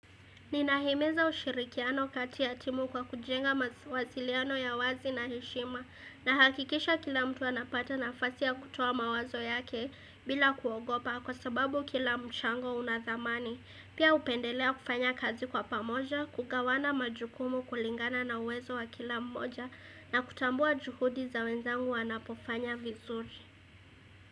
Ninahimiza ushirikiano kati ya timu kwa kujenga mawasiliano ya wazi na heshima na hakikisha kila mtu anapata nafasi ya kutuo mawazo yake bila kuogopa kwa sababu kila mchango unathamani. Pia upendelea kufanya kazi kwa pamoja, kukawa na majukumu kulingana na uwezo wa kila mmoja na kutambua juhudi za wenzangu wanapofanya vizuri.